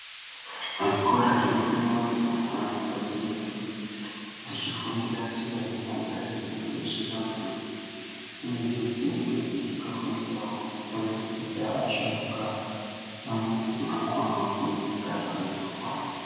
Zvikora zvinofundwa nezvirumbwana padzinenge dzichifundira tsika nemagariro uyezve vandu uyezve dzinenge dzichitofundirawo kuremekedza asharuka pamwepo nekutokonawo kuvernge zvakanyorwa.